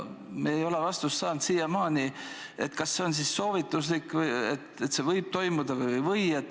Me ei ole siiamaani saanud vastust, kas see võib toimuda või ei või.